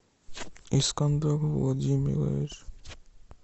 искандер владимирович